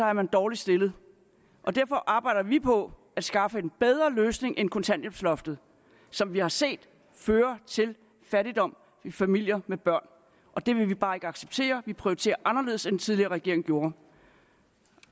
er man dårligt stillet derfor arbejder vi på at skaffe en bedre løsning end kontanthjælpsloftet som vi har set fører til fattigdom i familier med børn og det vil vi bare ikke acceptere vi prioriterer anderledes end den tidligere regering gjorde